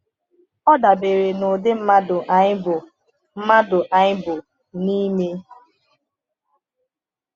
Ọ dabere n’ụdị mmadụ anyị bụ mmadụ anyị bụ n’ime.